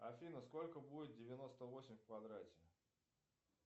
афина сколько будет девяносто восемь в квадрате